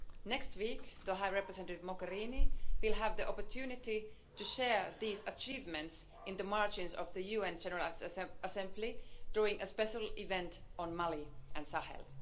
Next week High Representative Mogherini will have the opportunity to share these achievements in the margins of the UN General Assembly during a special event on Mali and Sahel.